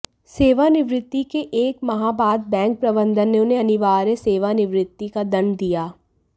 सेवानिवृत्ति के एक माह बाद बैंक प्रबंधन ने उन्हें अनिवार्य सेवानिवृत्ति का दंड दिया